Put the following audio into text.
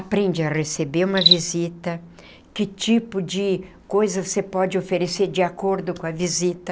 Aprende a receber uma visita, que tipo de coisa você pode oferecer de acordo com a visita.